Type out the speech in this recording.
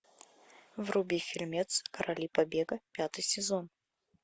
вруби фильмец короли побега пятый сезон